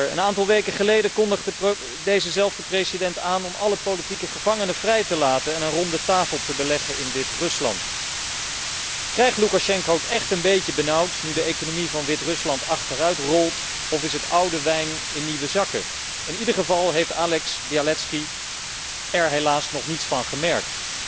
Een aantal weken geleden kondigde dezelfde president aan alle politieke gevangenen vrij te laten en een rondetafel te beleggen in Wit Rusland. Krijgt Loekasjenko het echt een beetje benauwd nu de economie van Wit Rusland achteruit rolt of is het oude wijn in nieuwe zakken? In ieder geval heeft Ales Bialatski er helaas nog niets van gemerkt.